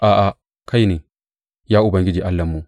A’a, kai ne, ya Ubangiji Allahnmu.